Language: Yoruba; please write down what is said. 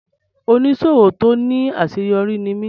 Oníṣòwò tó ní àṣeyọrí ní mí.